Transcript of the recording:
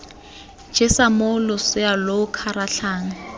jesa moo losea lo kgaratlhang